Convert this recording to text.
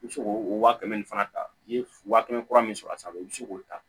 I bɛ se k'o wa kɛmɛ ni fana ta i ye waa kɛmɛ kura min sɔrɔ a sanfɛ i bɛ se k'o ta